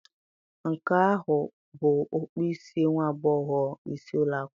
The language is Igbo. Nke ahụ a bụ okpu isi nwa agbọghọ isi ụlọ akwụkwọ?